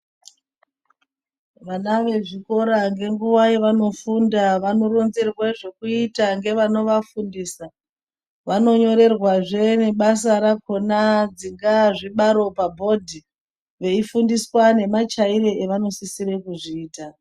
Vana vezvikora ngenguva yavanofunda vanoronzerwe zvekuita ngevanovafundisa, vanonyorerwazve nebasa rakona dzingaa zvibaro pabhodhi. Veifundiswa nemachaire avanosisire kuzviita.